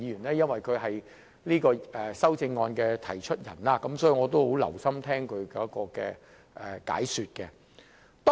由於他是提出這項修正案的議員，所以我很留心聆聽他的解說。